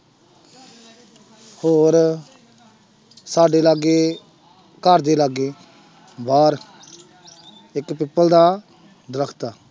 ਹੋਰ ਸਾਡੇ ਲਾਗੇ ਘਰਦੇ ਲਾਗੇ ਬਾਹਰ ਇੱਕ ਪਿੱਪਲ ਦਾ ਦਰਖਤ ਆ।